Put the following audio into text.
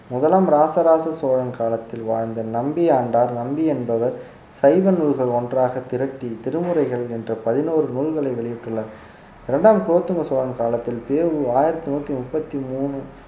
முதலாம் ராச ராச சோழன் காலத்தில் வாழ்ந்த நம்பியாண்டார் நம்பி என்பவர் சைவ நூல்கள் ஒன்றாக திரட்டி திருமுறைகள் என்ற பதினோரு நூல்களை வெளியிட்டுள்ளார் இரண்டாம் குலோத்துங்க சோழன் காலத்தில் பெ உ ஆயிரத்தி நூத்தி முப்பத்தி மூணு